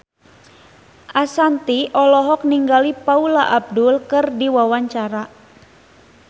Ashanti olohok ningali Paula Abdul keur diwawancara